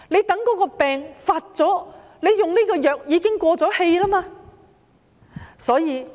到了病情惡化，使用這種藥物已經沒有效用。